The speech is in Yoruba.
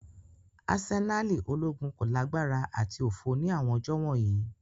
Asenali ologun ko lagbara ati ofo ni awọn ọjọ wọnyi.